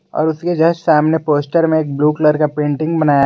और उसके जस्ट सामने पोस्टर में ब्लू कलर का पेंटिंग बनाया--